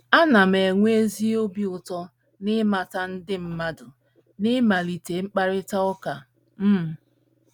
Ana m enweta ezi obi ụtọ n’ịmata ndị mmadụ na ịmalite mkparịta ụka. um